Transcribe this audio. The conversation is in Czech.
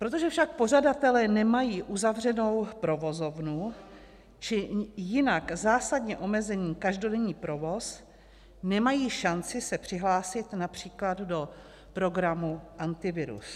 Protože však pořadatelé nemají uzavřenou provozovnu či jinak zásadně omezený každodenní provoz, nemají šanci se přihlásit například do programu Antivirus.